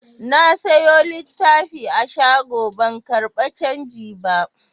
Na siyo littafi a shago ban karɓa canji ba.